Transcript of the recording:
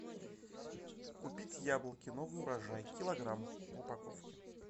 купить яблоки новый урожай килограмм в упаковке